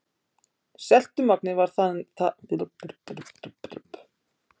Seltumagnið var talið benda til þess að aldur sjávar væri tæpar